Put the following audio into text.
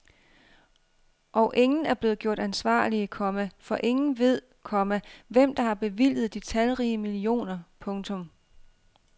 Og ingen er blevet gjort ansvarlige, komma for ingen ved, komma hvem der har bevilget de talrige millioner. punktum